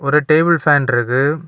ஒரு table fan இருக்கு.